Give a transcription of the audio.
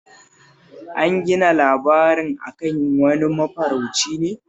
An gina labarin a kan wani mafarauci ne